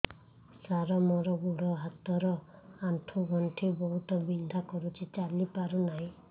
ସାର ମୋର ଗୋଡ ହାତ ର ଆଣ୍ଠୁ ଗଣ୍ଠି ବହୁତ ବିନ୍ଧା କରୁଛି ଚାଲି ପାରୁନାହିଁ